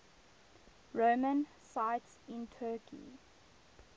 roman sites in turkey